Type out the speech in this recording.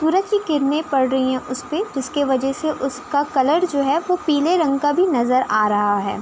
सूरज की किरणे पड़ रही हैं उसपे जिसके वजय से उसका कलर जो है वो पीले रंग का भी नजर आ रहा है।